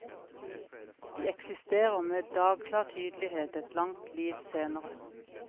De eksisterer med dagklar tydelighet et langt liv senere.